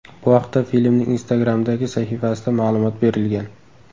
Bu haqda filmning Instagram’dagi sahifasida ma’lumot berilgan.